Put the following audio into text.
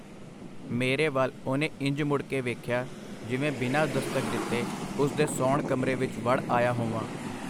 ਮੇਰੇ ਵਲ ਉਹਨੇ ਇੰਜ ਮੁੜ ਕੇ ਵੇਖਿਆ, ਜਿਵੇਂ ਬਿਨਾਂ ਦਸਤਕ ਦਿਤੇ ਉਸ ਦੇ ਸੌਣ-ਕਮਰੇ ਵਿਚ ਵੜ ਆਇਆ ਹੋਵਾਂ.